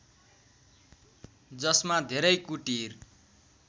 जसमा धेरै कुटीर